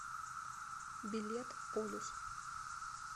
билет полюс